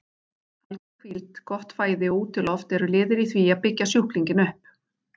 Alger hvíld, gott fæði og útiloft voru liðir í því að byggja sjúklinginn upp.